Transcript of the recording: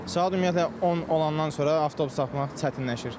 Saat ümumiyyətlə 10 olandan sonra avtobus tapmaq çətinləşir.